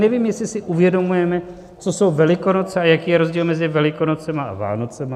Nevím, jestli si uvědomujeme, co jsou Velikonoce a jaký je rozdíl mezi Velikonocemi a Vánocemi.